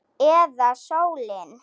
Eða sólin?